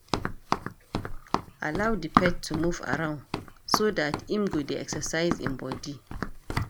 Allow di pet to move around so dat im go dey exercise im body